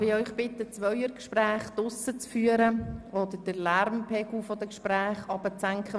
Darf ich Sie bitten, Zweiergespräche draussen zu führen oder den Lärmpegel der Gespräche zu senken?